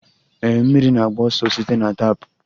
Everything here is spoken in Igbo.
Ee, mmiri na-agba ọsọ site na tap.